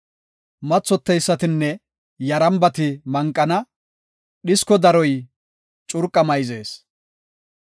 Mathoteysatinne yarambati manqana; dhisko daroy curqa mayzees.